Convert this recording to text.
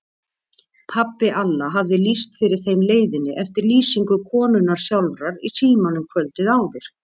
Pabbi Alla hafði lýst fyrir þeim leiðinni eftir lýsingu konunnar sjálfrar í símanum kvöldið áður.